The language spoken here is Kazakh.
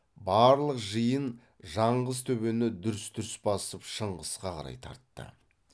барлық жиын жаңғыз төбені дүрс дүрс басып шыңғысқа қарай тартты